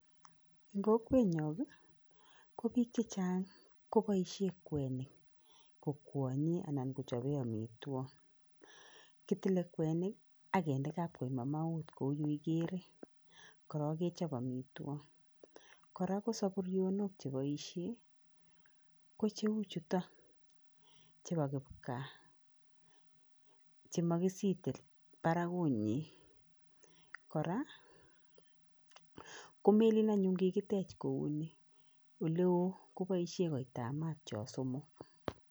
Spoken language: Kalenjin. Eng kokwenyon kopoishen biik chechang kwenik kokwanyei anan kochopei amitwokik. Kitile kwenik akende kapkoimaut kou ye igeere korook kechop amitwokik. Kora ko saburionik chepoishe kocheu chuto chebo kipgaa chemakisite barakunyin, kora komelin anyuun kouni, ole oo kopoishen koita maat cho somok.